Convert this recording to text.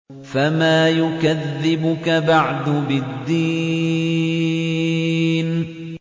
فَمَا يُكَذِّبُكَ بَعْدُ بِالدِّينِ